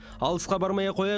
алысқа бармай ақ қояйық